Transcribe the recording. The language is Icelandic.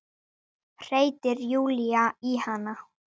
hreytir Júlía í hana.